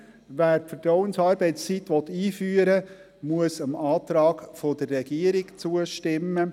Wer die Vertrauensarbeitszeit einführen will, muss dem Antrag der Regierung zustimmen.